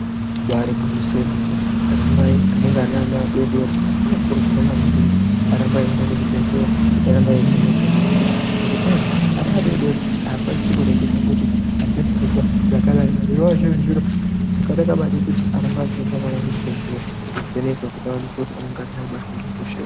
Ibaari gwinyiso yemene anamai anenge ane ana adoodori anokurudzirwa maningi kuti arambe aienda kuzvibhedhleya kuti arambe eivhenekwa. Ngekuti zvirokwazvo ana adoodori haakwanisi kureketa kuti handisi kuzwa zvakanaka. Zvinova zviri zviro zvakanaka maningi kuti arambe eienda neana kuzvibhedhleya achivhenekwe kuti anenge asina kubatwa ngehosha here.